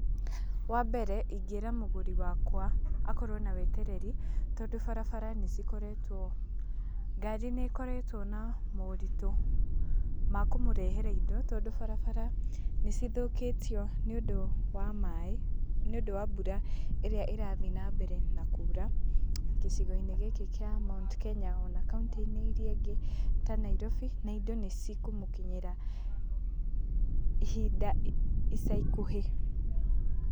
Wambere, ingĩĩra mũgũri wakwa, akorũo na wetereri, tondũ barabara nĩcikoretuo, ngari nĩikoretũo na maũritu, ma kũmũrehera indo, tondũ barabara nĩcithũkĩtio, nĩũndũ wa maĩ, nĩũndũ wa mbura ĩrĩa ĩrathiĩ na mbere na kura, gĩcigo-inĩ gĩkĩ kĩa Mt. Kenya ona kaunti-inĩ iria ingĩ ta Nairobi, na indo nĩcikũmũkinyĩra, ,ihinda, ica ikuhĩ.